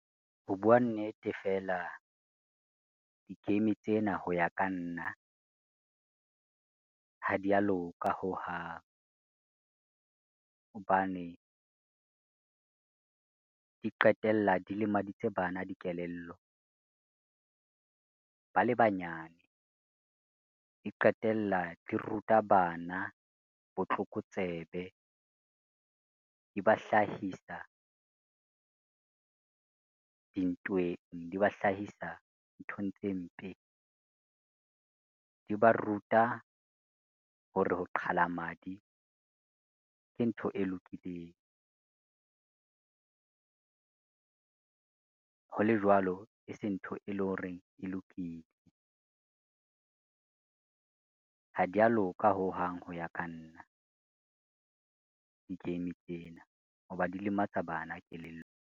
Ho bua nnete, fela di-game tsena ho ya ka nna, ha di ya loka hohang. Hobane, di qetella di lemaditse bana dikelello ba le banyane, di qetella di ruta bana botlokotsebe. Di ba hlahisa dintweng, di ba hlahisa nthong tse mpe, di ba ruta hore ho qhala madi ke ntho e lokileng, ho le jwalo e se ntho e leng hore e lokile. Ha di ya loka hohang ho ya ka nna, di-game tsena ho ba di lematsa bana kelello.